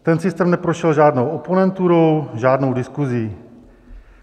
Ten systém neprošel žádnou oponenturou, žádnou diskusí.